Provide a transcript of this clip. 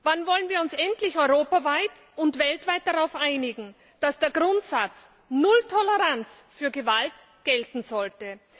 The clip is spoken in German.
Wann wollen wir uns endlich europaweit und weltweit darauf einigen, dass der Grundsatz null Toleranz für Gewalt gelten sollte?